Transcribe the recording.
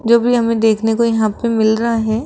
जो भी हमें देखने को यहां पे मिल रहा है।